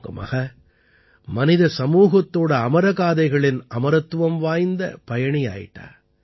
உங்க மகள் மனித சமூகத்தின் அமர காதைகளின் அமரத்துவம் வாய்ந்த பயணியாயிட்டா